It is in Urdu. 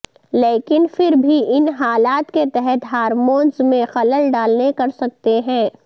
لیکن پھر بھی ان حالات کے تحت ہارمونز میں خلل ڈالنے کر سکتے ہیں